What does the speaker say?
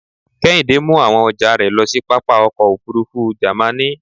Kehinde mu awon ọjà rẹ̀ lo sí pápá ọkọ̀ òfurufú Jàmaní.